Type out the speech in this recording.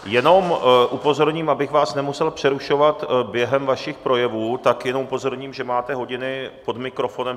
Jenom upozorním: abych vás nemusel přerušovat během vašich projevů, tak jenom upozorním, že máte hodiny pod mikrofonem.